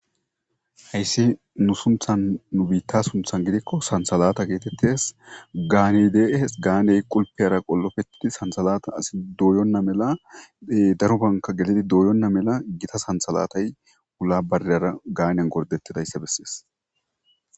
Hayis nusunthan nu bitta sunithan gidiko sanithalata getetes ganey de'es qulipeyara qolopetidi sanithalata doyona mela darobanika doyona mela gitta sanithalatay wula bareyara ganiyan goridetidayisa beses